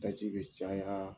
Daji bɛ caya